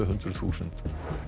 hundruð þúsund